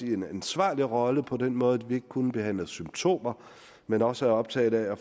i en ansvarlig rolle på den måde at vi ikke kun behandler symptomer men også er optaget af at